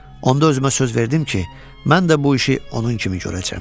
Onda özümə söz verdim ki, mən də bu işi onun kimi görəcəm.